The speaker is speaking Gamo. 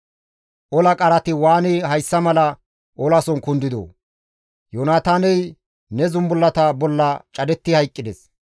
«Ola qarati waani hayssa mala olason kundidoo! Yoonataaney ne zumbullata bolla cadetti hayqqides.